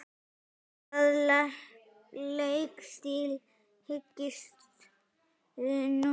Hvaða leikstíl hyggstu nota?